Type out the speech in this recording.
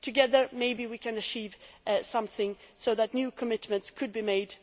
Together maybe we can achieve something so that new commitments could be made.